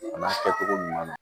A n'a kɛcogo ɲuman na